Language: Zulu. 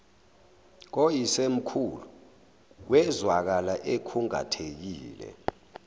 koyisemkhulu wezwakala ekhungathekile